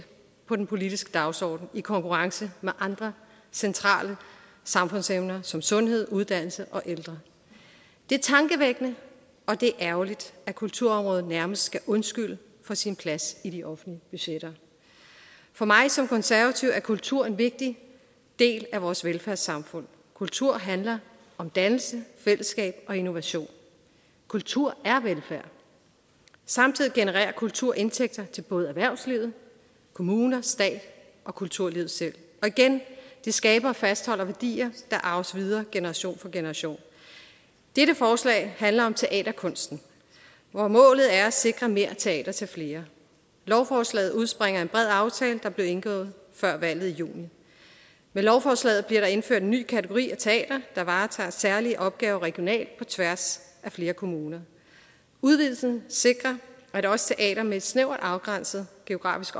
på den politiske dagsorden i konkurrence med andre centrale samfundsemner som sundhed uddannelse og ældre det er tankevækkende og det er ærgerligt at kulturområdet nærmest skal undskylde for sin plads i de offentlige budgetter for mig som konservativ er kultur en vigtig del af vores velfærdssamfund kultur handler om dannelse fællesskab og innovation kultur samtidig genererer kultur indtægter til både erhvervslivet kommuner stat og kulturlivet selv og igen det skaber og fastholder værdier der arves videre generation for generation dette forslag handler om teaterkunsten hvor målet er at sikre mere teater til flere lovforslaget udspringer af en bred aftale der blev indgået før valget i juni med lovforslaget bliver der indført en ny kategori af teater der varetager særlige opgaver regionalt på tværs af flere kommuner udvidelsen sikrer at også teater med et snævert afgrænset geografisk